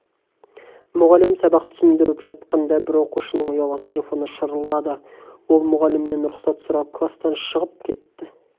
мұғалім сабақ түсіндіріп жатқанда бір оқушының ұялы телефоны шырылдады ол мұғалімнен рұқсат сұрап класстан шығып кетті